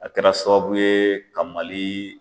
A kɛra sababu ye ka Mali